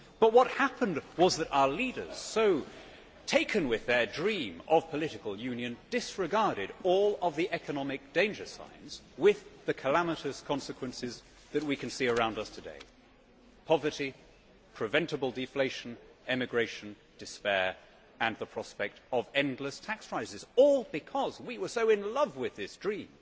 What happened was that our leaders, so taken with their dream of political union, disregarded all of the economic danger signs with the calamitous consequences that we can see around us today poverty, preventable deflation, emigration, despair and the prospect of endless tax rises, all because we were so in love with this dream